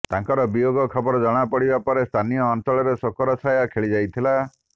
ତାଙ୍କର ବିୟୋଗ ଖବର ଜଣାପଡ଼ିବା ପରେ ସ୍ଥାନୀୟ ଅଂଚଳରେ ଶୋକର ଛାୟା ଖେଳିଯାଇଥିଲା